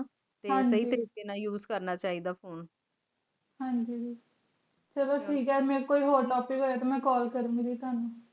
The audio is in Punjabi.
ਹਾਂਜੀ ਸਹੀ ਤਰੀਕ਼ੇ ਨਾਲ ਉਸੇ ਕਰਨਾ ਚੀ ਦਾ phone ਚ੍ਲੋ ਠੀਕ ਆ ਮੇਰੀ ਕੋਲ ਕੋਈ ਹੋਰ topic ਤੇ ਮੈਂ call ਕਰਨ ਗੀ ਦੀ ਤਨੁ